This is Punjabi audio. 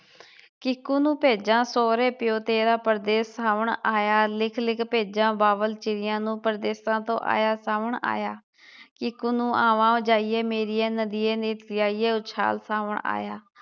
ਕੀਕੂ ਨੂੰ ਭੇਜਾ ਸੋਹਰੇ ਪਿਓ ਤੇਰਾ ਪ੍ਰਦੇਸ਼, ਸਾਵਣ ਆਇਆ ਲਿਖ ਲਿਖ ਭੇਜਾ ਬਾਬਲ ਚਿੜੀਆਂ ਨੂੰ ਪ੍ਰਦੇਸ਼ਾ ਤੋਂ ਆਇਆ ਸਾਵਣ ਆਇਆ ਕੀਕੂ ਨੂੰ ਆਵਾ ਜਾਈਏ ਮੇਰੀਏ ਨਦੀਏ ਨੇ ਕੀਆ ਸਾਵਣ ਆਇਆ